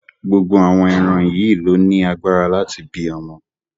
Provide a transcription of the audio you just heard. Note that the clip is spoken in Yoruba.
Gbogbo àwọn ẹran yìí ló ní agbára láti bí ọmọ.